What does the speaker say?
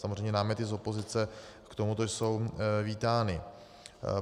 Samozřejmě náměty z opozice k tomuto jsou vítány.